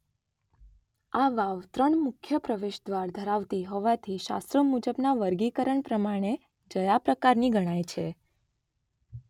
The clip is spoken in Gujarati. આ વાવ ત્રણ મુખ્ય પ્રવેશદ્વાર ધરાવતી હોવાથી શાસ્ત્રો મુજબના વર્ગીકરણ પ્રમાણે જયા પ્રકારની ગણાય છે